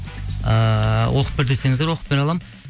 ыыы оқып бер десеңіздер оқып бере аламын